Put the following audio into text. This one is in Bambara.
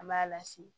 An b'a lasigi